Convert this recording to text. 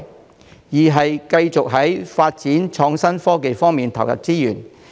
第二，繼續在發展創新科技方面投入資源。